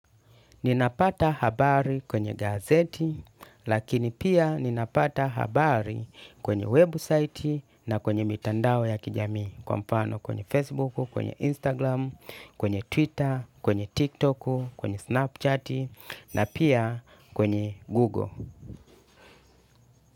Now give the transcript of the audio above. Ninapata habari kwenye gazeti, lakini pia ninapata habari kwenye website na kwenye mitandao ya kijamii kwa mfano kwenye Facebook, kwenye Instagram, kwenye Twitter, kwenye TikTok, kwenye Snapchat na pia kwenye Google.